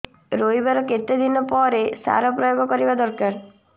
ରୋଈବା ର କେତେ ଦିନ ପରେ ସାର ପ୍ରୋୟାଗ କରିବା ଦରକାର